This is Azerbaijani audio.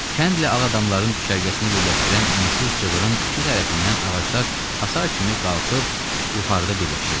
Kəndlə ağ adamların düşərgəsini birləşdirən ensiz cığırın iki tərəfindən ağaclar hasar kimi qalxıb yuxarıda birləşirdi.